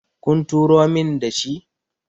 kun turo min da shi?